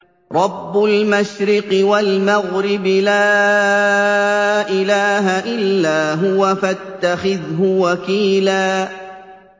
رَّبُّ الْمَشْرِقِ وَالْمَغْرِبِ لَا إِلَٰهَ إِلَّا هُوَ فَاتَّخِذْهُ وَكِيلًا